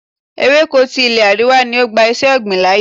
Ewéko ti ilé àríwá ni ó gba iṣé ọ̀gbìn láyè.